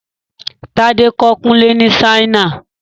Tádé kọ́ Kùnlé ni Ṣáínà